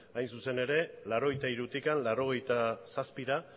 hain zuzen ere mila bederatziehun eta laurogeita hirutik mila bederatziehun eta laurogeita zazpira